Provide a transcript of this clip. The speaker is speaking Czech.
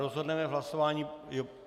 Rozhodneme v hlasování.